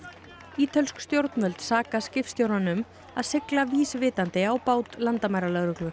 ítölsk stjórnvöld saka skipstjórann um að sigla vísvitandi á bát landamæralögreglu